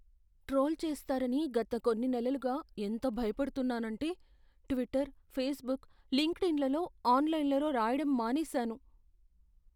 Troll చేస్తారని గత కొన్ని నెలలుగా ఎంత భయపడుతున్నానంటే ట్విట్టర్, ఫేస్బుక్, లింక్డ్ఇన్లలో ఆన్లైన్లో రాయడం మానేశాను.